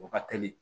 O ka teli